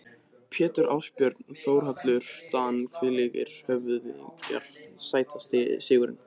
Pétur Ásbjörn og Þórhallur Dan þvílíkir höfðingjar Sætasti sigurinn?